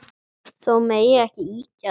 Þó megi ekki ýkja það.